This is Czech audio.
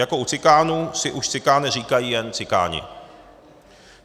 Jako u Cikánů si už Cikáne říkají jen Cikáni.